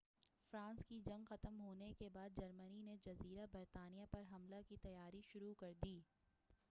France کی جنگ ختم ہونے کے بعد جرمنی نے جزیرہ برطانیہ پر حملہ کی تیاری شروع کردی